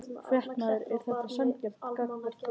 Fréttamaður: Er þetta sanngjarnt gagnvart þér?